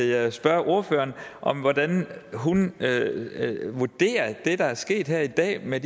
jeg spørge ordføreren om hvordan hun vurderer det der er sket her i dag med